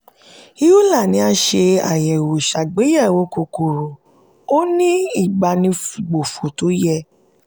euler ni a ṣe àyẹ̀wò ṣàgbéyẹ̀wò kòkòrò ó ní ìbánigbófò tó yẹ.